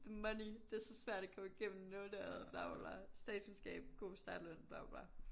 The money. Det er så svært at komme gennem nåleøjen bla bla bla. Statskundskab god startløn bla bla bla